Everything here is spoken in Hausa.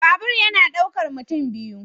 Babur yana daukar mutum biyu.